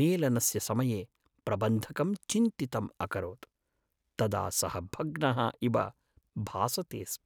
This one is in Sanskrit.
मेलनस्य समये प्रबन्धकं चिन्तितम् अकरोत् तदा सः भग्नः इव भासते स्म।